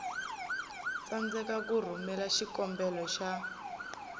tsandzeka ku rhumela xikombelo xa